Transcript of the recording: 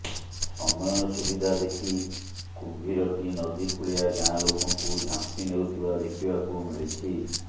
ସମୟ ସୁବିଧା ଦେଖି କୁମ୍ଭୀରଟି ନଦୀ କୂଳିଆ ଗାଁ ଲୋକଙ୍କୁ ଝାମ୍ପି ନେଉଥିବା ଦେଖିବାକୁ ମିଳିଛି